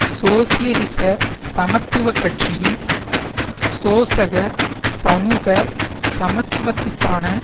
சோசியலிச சமத்துவ கட்சியும் சோசக சமூக சமத்துவத்துக்கான